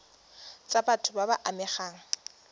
tsa batho ba ba amegang